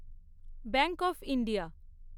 bank of India